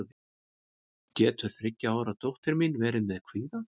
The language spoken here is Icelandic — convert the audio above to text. getur þriggja ára dóttir mín verið með kvíða